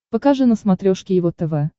покажи на смотрешке его тв